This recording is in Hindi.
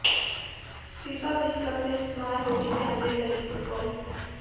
फीफा विश्व कप में इस्तेमाल होगी कैमरे लगी फुटबाल